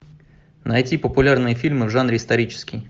найти популярные фильмы в жанре исторический